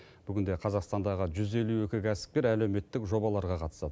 бүгінде қазақстандағы жүз елу екі кәсіпкер әлеуметтік жобаларға қатысады